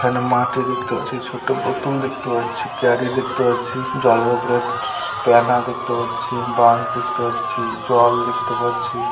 এখানে দেখতে পাচ্ছি ছোট বোতল দেখতে পাচ্ছি ক্যারি দেখতে পাচ্ছি জলের উপর দেখতে পাচ্ছি বাঁশ দেখতে পাচ্ছি জল দেখতে পাচ্ছি।